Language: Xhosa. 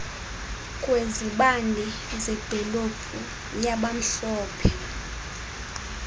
kwezibane zedolophu yabamhlophe